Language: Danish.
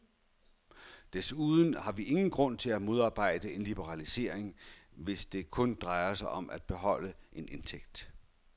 Desuden har vi ingen grund til at modarbejde en liberalisering, hvis det kun drejer sig om at beholde en indtægt.